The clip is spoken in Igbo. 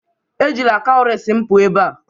Ejila cowries m pụọ ebe a!